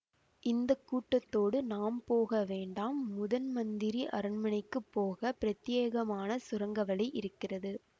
இந்த கூட்டத்தோடு நாம் போக வேண்டாம் முதன்மந்திரி அரண்மனைக்கு போக பிரத்தியேகமான சுரங்க வழி இருக்கிறது